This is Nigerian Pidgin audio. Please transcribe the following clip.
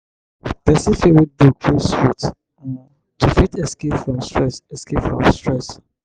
person fit read book wey sweet um to fit escape from stress escape from stress